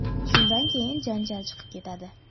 Shundan keyin janjal chiqib ketadi.